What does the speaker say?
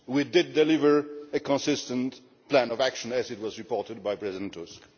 We did deliver a consistent plan of action, as was reported by President Tusk.